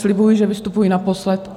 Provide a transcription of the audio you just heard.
Slibuji, že vystupuji naposled.